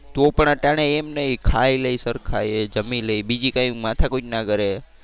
તો પણ અટાણે એમ નહિ ખાઈ લે સરખા એ જમી લે બીજી કોઈ માથાકૂટ ના કરે.